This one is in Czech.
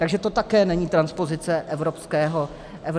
Takže to také není transpozice evropského práva.